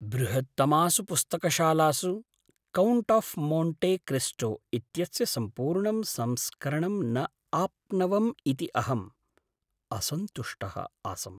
बृहत्तमासु पुस्तकशालासु "Count of Monte Cristo" इत्यस्य सम्पूर्णं संस्करणं न आप्नवम् इति अहम् असन्तुष्टः आसम्।